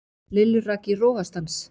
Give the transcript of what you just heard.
Lillu rak í rogastans.